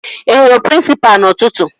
Ị hụrụ prịnsịpa n'ụtụtụ?